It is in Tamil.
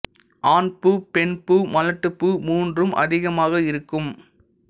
ஆண் பூ பெண் பூ மலட்டுபூ மூன்றும் அதிகமாக இருக்கும்